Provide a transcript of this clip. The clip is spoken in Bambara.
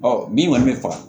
min kɔni bɛ faga